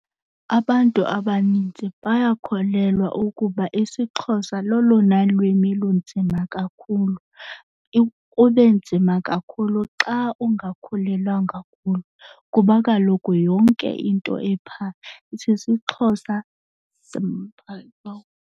Abantu abanintsi bayakholelwa ukuba isiXhosa lolona lwimi lunzima kakhulu. Kube nzima kakhulu xa ungakhulelanga kulo kuba kaloku yonke into ephaa isisiXhosa .